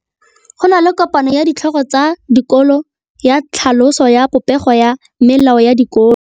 Go na le kopanô ya ditlhogo tsa dikolo ya tlhaloso ya popêgô ya melao ya dikolo.